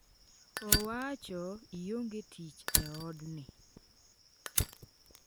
Owacho: "ionge tich e otni.”